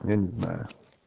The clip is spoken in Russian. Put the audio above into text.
я не знаю